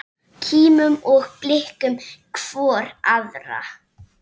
Kímum og blikkum hvor aðra.